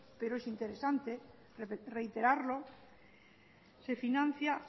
pero es interesante reiterarlo se financia